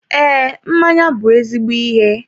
Ee, mmanya bụ ezigbo ihe